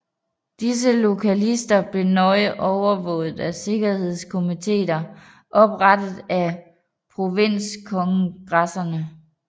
Disse loyalister blev nøje overvåget af sikkerhedskomitéer oprettet af provinskongresserne